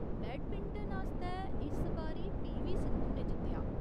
Badminton आस्तै, इस बारी पी.वी. सिंधु ने जित्तेआ।